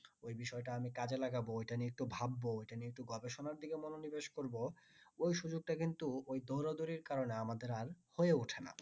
ওই বিষয় তা আমি কাজে লাগাব ওটা নিয়ে একটু ভাববো ওটা নিয়ে একটু গবেষণার দিকে মনো নিবেশ করবো ওই সুযোগ টা কিন্তু ওই দৌড়া দড়ির কারনে আমাদের আর হয়ে ওঠে না